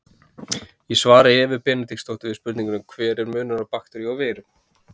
Í svari Evu Benediktsdóttur við spurningunni Hver er munurinn á bakteríu og veiru?